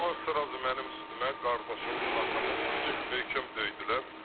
Qaçdılar, dərhal mənim üstümə, qardaşımın, atamın bizi möhkəm döydülər.